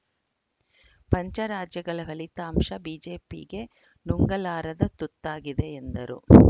ಪಂಚ ರಾಜ್ಯಗಳ ಫಲಿತಾಂಶ ಬಿಜೆಪಿಗೆ ನುಂಗಲಾರದ ತುತ್ತಾಗಿದೆ ಎಂದರು